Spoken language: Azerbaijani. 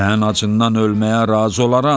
Mən acından ölməyə razı olaram.